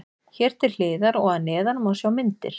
Hér til hliðar og að neðan má sjá myndir.